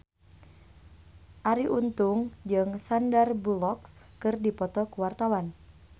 Arie Untung jeung Sandar Bullock keur dipoto ku wartawan